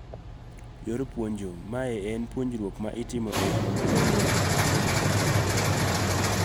Yor puonjo; Mae en puonjruok ma itimo eyamo maonge romo achiel kachiel.